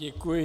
Děkuji.